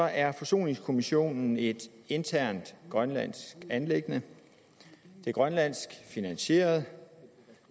er forsoningskommissionen et internt grønlandsk anliggende det er grønlandsk finansieret